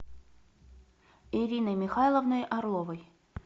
ириной михайловной орловой